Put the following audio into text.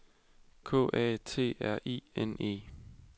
K A T R I N E